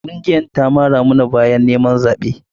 Ƙungiyarta ta mara mata baya a yaƙin neman zaɓen ta.